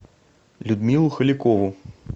людмилу халикову